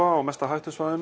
á mesta hættu svæðinu